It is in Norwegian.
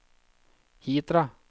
Hitra